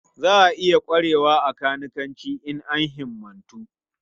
Za a iya ƙwarewa a kanikanci in an himmatu.